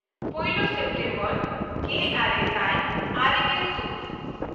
ᱯᱳᱭᱞᱳ ᱥᱮᱯᱴᱮᱢᱵᱚᱨ ᱜᱮᱼᱟᱨᱮ ᱥᱟᱭ ᱟᱨᱮᱜᱮᱞ ᱛᱩᱨᱩᱭ